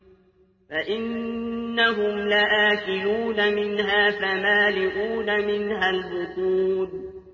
فَإِنَّهُمْ لَآكِلُونَ مِنْهَا فَمَالِئُونَ مِنْهَا الْبُطُونَ